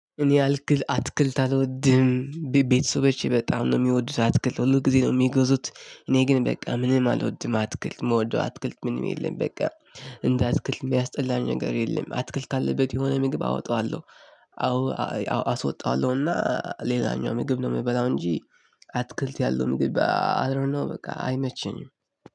እኔ አትክልት አልወድም። ቤተሰቦቼ በጣም ነው የሚወዱት አትክልት ሁልጊዜ ነው የሚገዙት እኔም በቃ ምንም አልወድም አትክልት የምወደው አትክልት ምንም የለም። እንደ አትክልት የሚያስጠላኝ ነገር የለም አትክልት ካለበት የሆነ ምግብ አወጣዋለሁ። አዎ አስወጣዋለሁና ሌላኛው ምግብ ነው የምበላው እንጂ። አትክልት ያለው ምግብ አይ ዶንኖ በቃ አይመቸኝም።